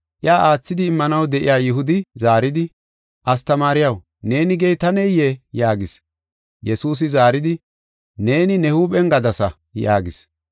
Iya aathidi immanaw de7iya Yihudi zaaridi, “Astamaariyaw, neeni gey taneyee?” yaagis. Yesuusi zaaridi, “Neeni ne huuphen gadasa” yaagis.